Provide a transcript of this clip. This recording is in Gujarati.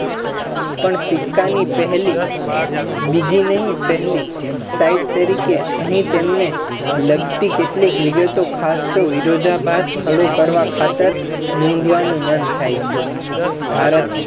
પણ સિક્કાની પહેલી બીજી નહી પહેલી side તરીકે અહી તેમને લાગતી કેટલીક વિગતો ખાસતો વિરોધાબાદ ખરુ કરવા ખાતર નોંધવાનુ મન થાય છે ભારત